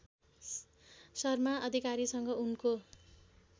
शर्मा अधिकारीसँग उनको